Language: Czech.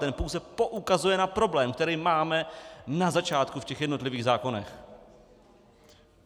Ten pouze poukazuje na problém, který máme na začátku v těch jednotlivých zákonech.